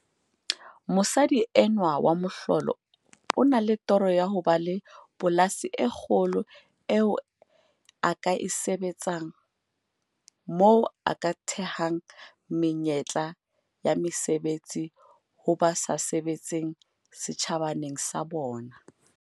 Mosadi enwa wa mohlolo o na le toro ya ho ba le polasi e kgolo eo a ka e sebetsang, moo a ka thehang menyetla ya mesebetsi ho ba sa sebetseng setjhabaneng sa bona.